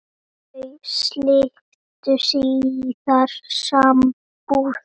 Þau slitu síðar sambúð.